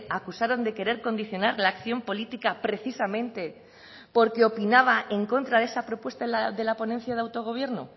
acusaron de querer condicionar la acción política precisamente porque opinaba en contra de esa propuesta de la ponencia de autogobierno